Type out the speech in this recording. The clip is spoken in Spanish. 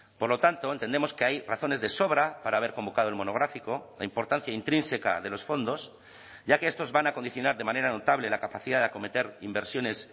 por lo tanto entendemos que hay razones de sobra para haber convocado el monográfico la importancia intrínseca de los fondos ya que estos van a condicionar de manera notable la capacidad de acometer inversiones